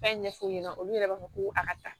Fɛn ɲɛfɔ u ɲɛna olu yɛrɛ b'a fɔ ko a ka taa